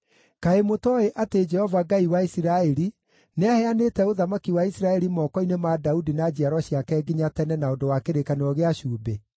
Kaĩ mũtooĩ atĩ Jehova, Ngai wa Isiraeli, nĩaheanĩte ũthamaki wa Isiraeli moko-inĩ ma Daudi na njiaro ciake nginya tene na ũndũ wa kĩrĩkanĩro gĩa cumbĩ?